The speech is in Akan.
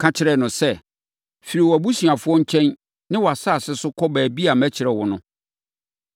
ka kyerɛɛ no sɛ, ‘Firi wʼabusuafoɔ nkyɛn ne wʼasase so kɔ baabi a mɛkyerɛ wo no.’